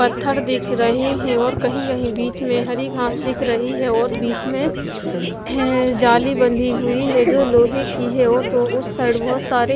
पत्थर दिख रहे हैं और कही कही बीच में हरी घास दिख रही है और बीच में जाली बंधी हुई है जो लोहे की है और उस साइड बहुत सारे--